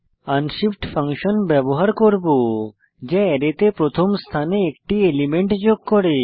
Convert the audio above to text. unshift function ব্যবহার করব যা অ্যারেতে প্রথম স্থানে একটি এলিমেন্ট যোগ করে